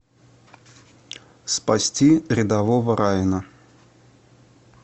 спасти рядового райана